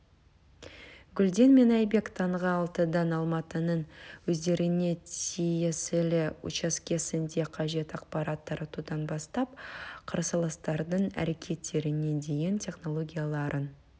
гүлден мен айбек таңғы алтыдан алматының өздеріне тиесілі учаскесінде қажет ақпарат таратудан бастап қарсыластардың әрекеттеріне дейін технологияларын